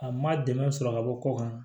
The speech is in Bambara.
A ma dɛmɛ sɔrɔ ka bɔ ko kan